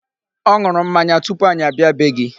Ọ ṅụrụ mmanya tupu anyị abịa bee gị.